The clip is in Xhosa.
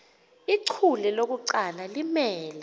ichule lokuqala limele